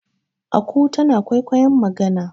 aku tana kwaikwayon magana